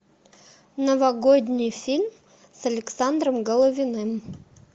новогодний фильм с александром головиным